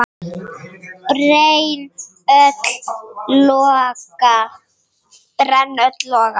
brenn öll loga